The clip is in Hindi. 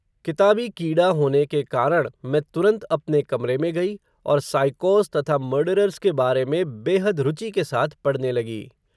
किताबी कीड़ा होने के कारण, मैं तुरन्त अपने कमरे में गई, और साइकोज़ तथा मर्डरर्स के बारे में, बेहद रुचि के साथ पढ़ने लगी